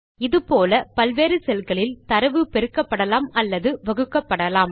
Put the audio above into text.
இதே போல பல வேறு செல் களில் தரவு பெருக்கப்படலாம் அல்லது வகுக்கப்படலாம்